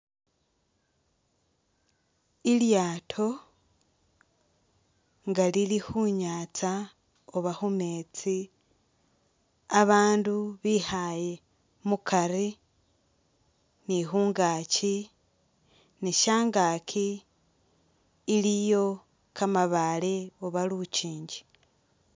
I'lyaato nga lili khu nyaatsa uba khu meetsi abaandu bikhaaye mukari ni khungaaki ni syangaaki iliyo kamabaale uba lukingi.